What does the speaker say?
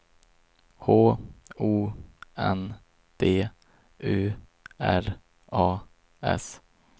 H O N D U R A S